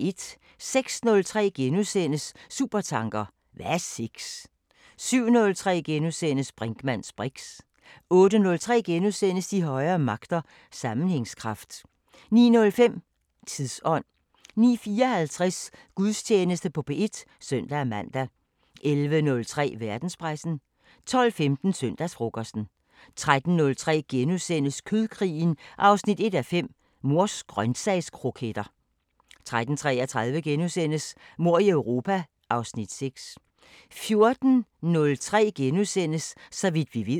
06:03: Supertanker: Hvad er sex? * 07:03: Brinkmanns briks * 08:03: De højere magter: Sammenhængskraft * 09:05: Tidsånd 09:54: Gudstjeneste på P1 (søn-man) 11:03: Verdenspressen 12:15: Søndagsfrokosten 13:03: Kødkrigen 1:5 – Mors grøntsagskroketter * 13:33: Mord i Europa (Afs. 6)* 14:03: Så vidt vi ved *